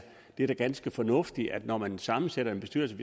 det er da ganske fornuftigt at man når man sammensætter en bestyrelse